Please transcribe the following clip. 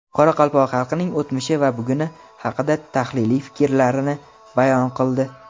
qoraqalpoq xalqining o‘tmishi va buguni haqida tahliliy fikrlarini bayon qildi.